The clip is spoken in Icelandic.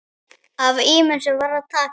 Af ýmsu var að taka.